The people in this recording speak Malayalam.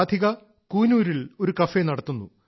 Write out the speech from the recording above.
രാധിക കൂനൂറിൽ ഒരു കഫേ നടത്തുന്നു